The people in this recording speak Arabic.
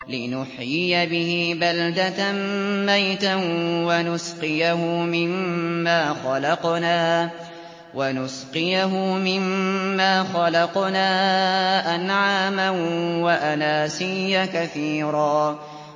لِّنُحْيِيَ بِهِ بَلْدَةً مَّيْتًا وَنُسْقِيَهُ مِمَّا خَلَقْنَا أَنْعَامًا وَأَنَاسِيَّ كَثِيرًا